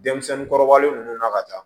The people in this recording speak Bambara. Denmisɛnnin kɔrɔbalen ninnu na ka taa